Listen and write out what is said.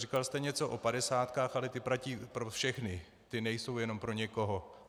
Říkal jste něco o padesátkách, ale ty platí pro všechny, ty nejsou jenom pro někoho.